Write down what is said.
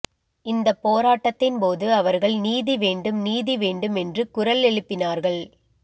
இந்த போராட்டத்தின் போது அவர்கள் நீதி வேண்டும் நீதி வேண்டும் என்று குரல் எழுப்பினார்கள்